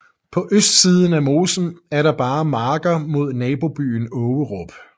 På østsiden af mosen er der bare marker mod nabobyen Ågerup